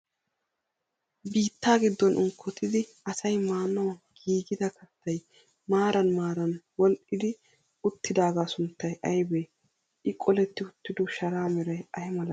Biittaa giddon unkkkottidi asay maanawu gigida kaattay maaran maaran wodhdhi uttidaagaa sunttay aybee? I qoletti uttiddo sharaa meray ay malatii?